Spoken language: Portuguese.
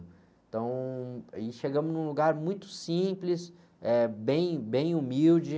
Então, aí chegamos em um lugar muito simples, eh, bem, bem humilde.